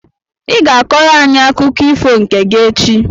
I ga-akọrọ anyị akụkọ ifo nke gị echi!